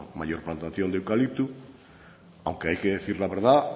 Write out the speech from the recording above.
mayor plantación de eucalipto aunque hay que decir la verdad